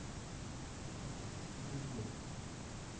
echo echo